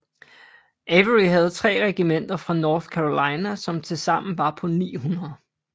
Avery havde tre regimenter fra North Carolina som tilsammen var på 900